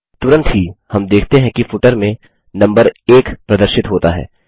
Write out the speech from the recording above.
तुरंत ही हम देखते हैं कि फुटर में नम्बर 1 प्रदर्शित होता है